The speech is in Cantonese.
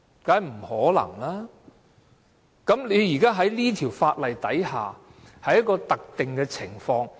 在《條例草案》下，我們討論的是一種特定的情況。